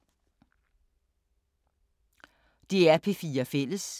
DR P4 Fælles